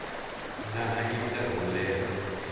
nga hanya nkarhi wo leha